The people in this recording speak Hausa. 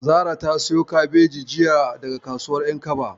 Zara ta siyo kabeji jiya daga kasuwar ƴankaba.